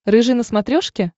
рыжий на смотрешке